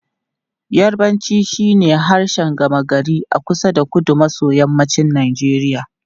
Yarbanci shine harshen gama gari a kusa da kudu maso yammacin Najeriya.